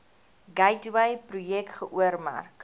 gateway projek geoormerk